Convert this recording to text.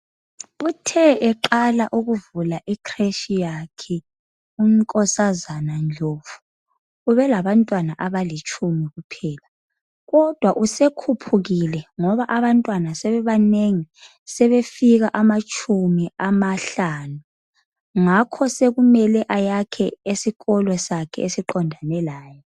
Uthe eqala ukuvula i creshi yakhe unkosazana Ndlovu ubelaba ntwana abalitshumi kuphela. Kodwa usekhuphukile ngoba abantwana sebebanengi sebefika amatshumi amahlanu ngakho sokumele ayakhe isikolo esiqondane laye.